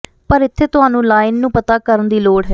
ਪਰ ਇੱਥੇ ਤੁਹਾਨੂੰ ਲਾਈਨ ਨੂੰ ਪਤਾ ਕਰਨ ਦੀ ਲੋੜ ਹੈ